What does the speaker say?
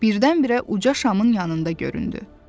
Birdən-birə uca şamın yanında göründü.